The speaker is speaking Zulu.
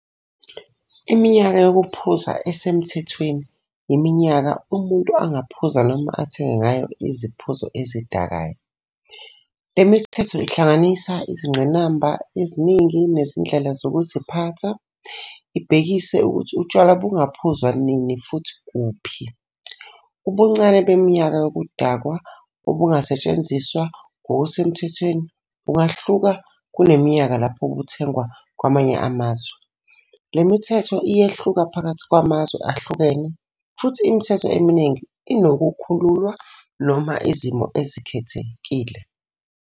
Iminyaka yokuphuza esemthethweni yiminyaka umuntu angaphuza noma athenge ngayo iziphuzo ezidakayo. Le mithetho ihlanganisa izingqinamba eziningi nezindlela zokuziphatha, ibhekise ukuthi utshwala bungaphuzwa nini futhi kuphi. Ubuncane beminyaka yobudakwa obungasetshenziswa ngokusemthethweni bungahluka kuneminyaka lapho buthengwa kwamanye amazwe. Le mithetho iyehluka phakathi kwamazwe ahlukene futhi imithetho eminingi inokukhululwa noma izimo ezikhethekile.